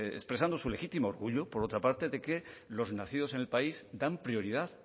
expresando su legítimo orgullo por otra parte de que los nacidos en el país dan prioridad